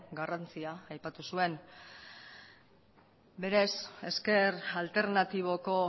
garrantzia aipatu zuen berez ezker alternatiboko